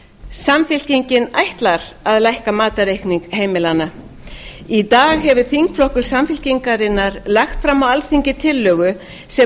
samfylkingin ætlar að lækka matarreikning heimilanna í dag hefur þingflokkur samfylkingarinnar lagt fram á alþingi tillögu sem